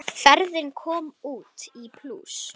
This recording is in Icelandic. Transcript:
Ferðin kom út í plús.